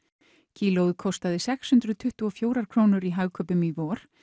kílóið kostaði sex hundruð tuttugu og fjórar krónur í Hagkaupum í vor